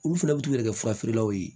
Olu fɛnɛ bi t'u yɛrɛ kɛ fura feerelaw ye